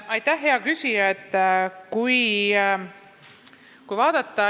Aitäh, hea küsija!